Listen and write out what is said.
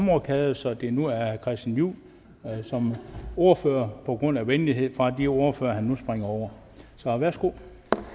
rokade så det nu er herre christian juhl som ordfører på grund af venlighed fra de ordførere han nu springer over værsgo